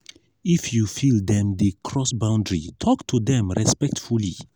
if you feel dem dey cross boundary talk to dem respectfully.